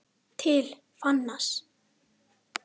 TIL FÁNANS